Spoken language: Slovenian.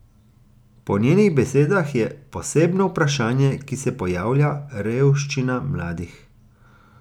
Po njenih besedah je posebno vprašanje, ki se pojavlja, revščina mladih.